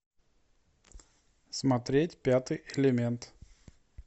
смотреть пятый элемент